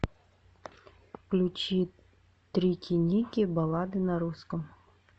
включи трики ники баллады на русском